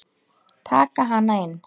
Taka hana inn.